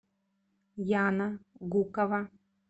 яна гукова